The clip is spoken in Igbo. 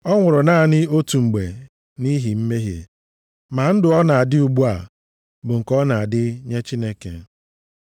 Ọ nwụrụ naanị otu mgbe nʼihi mmehie. Ma ndụ ọ na-adị ugbu a bụ nke ọ na-adị nye Chineke.